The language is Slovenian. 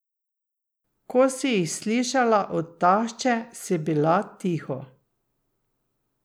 Ko si jih slišala od tašče, si bila tiho.